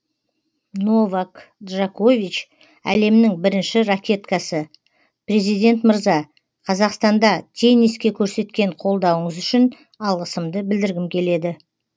новак джакович әлемнің бірінші ракеткасы президент мырза қазақстанда тенниске көрсеткен қолдауыңыз үшін алғысымды білдіргім келеді